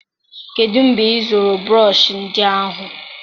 kedụ mgbe ịzụrụ brọsh ndị ahụ?